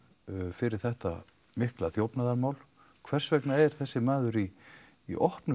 fyrir þetta mikla þjófnaðarmál hvers vegna er þessi maður í í opnu